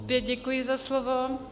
Opět děkuji za slovo.